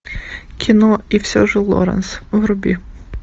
кино и все же лоранс вруби